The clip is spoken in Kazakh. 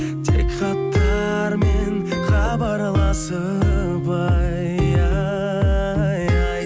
тек хаттармен хабарласып ай ай